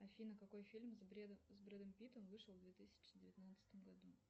афина какой фильм с брэдом питтом вышел в две тысячи девятнадцатом году